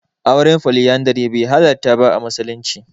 Auren Foliyandari bai halarta ba a musulunci.